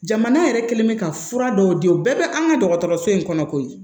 Jamana yɛrɛ kɛlen mɛ ka fura dɔw di u bɛɛ bɛ an ka dɔgɔtɔrɔso in kɔnɔ koyi